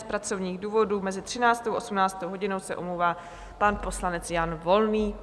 Z pracovních důvodů mezi 13. a 18. hodinou se omlouvá pan poslanec Jan Volný.